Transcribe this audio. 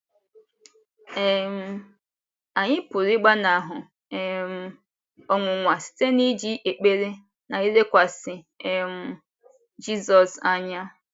um Anyị pụrụ ịgbanahụ um ọnwụnwa site n’iji ekpere na ilekwasị um Jizọs anya.